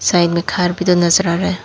Side में घर भी तो नजर आ रहा है।